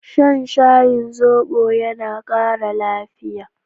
Shan shayin zobo yana ƙara lafiya.